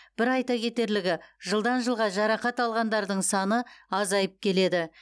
бір айта кетерлігі жылдан жылға жарақат алғандардың саны азайып келеді